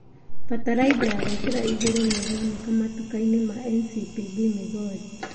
Bataraitha ya gũĩkĩra igũrũ nĩĩroneka matuka-inĩ ma NCPB Migori